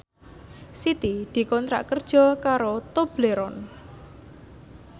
Siti dikontrak kerja karo Tobleron